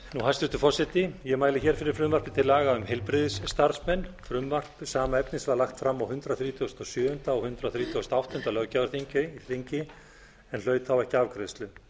hæstvirtur forseti ég mæli hér fyrir frumvarpi á laga um heilbrigðisstarfsmenn frumvarp sama efnis var lagt fram á hundrað þrítugasta og sjöunda og hundrað þrítugasta og áttunda löggjafarþingi en hlaut þá ekki afgreiðslu